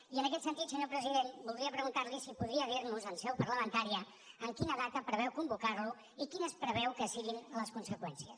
i en aquest sentit senyor president voldria preguntar li si podria dir nos en seu parlamentària en quina data preveu convocar lo i quines preveu que siguin les conseqüències